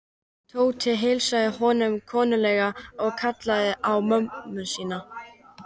Tóti heilsaði honum kunnuglega og kallaði á ömmu sína.